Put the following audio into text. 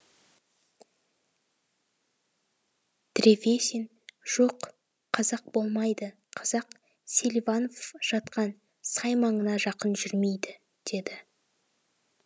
древесин жоқ қазақ болмайды қазақ селиванов жатқан сай маңына жақын жүрмейді деді